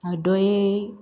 A dɔ ye